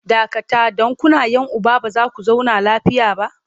Dakata! don kuna 'yan uba ba za ku zauna lafiya ba!